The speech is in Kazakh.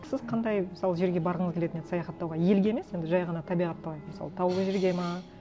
сіз қандай мысалы жерге барғыңыз келетін еді саяхаттауға елге емес енді жай ғана табиғатты алайық мысалы таулы жерге ме